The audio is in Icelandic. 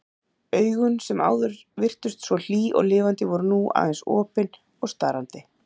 Augun sem áður virtust svo hlý og lifandi voru nú aðeins opin og starandi.